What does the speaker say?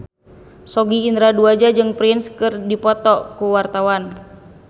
Sogi Indra Duaja jeung Prince keur dipoto ku wartawan